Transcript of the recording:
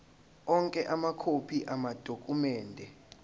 onke amakhophi amadokhumende